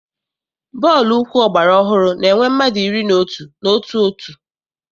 Bọọlụ ụkwụ ọgbara ọhụrụ na-enwe mmadụ iri na otu n'otu òtù.